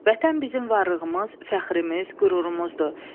Vətən bizim varlığımız, fəxrimiz, qürurumuzdur.